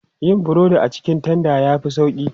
Yin burodi a cikin tanda ya fi sauƙi.